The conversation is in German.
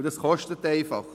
Das kostet einfach!